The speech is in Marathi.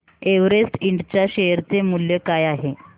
एव्हरेस्ट इंड च्या शेअर चे मूल्य काय आहे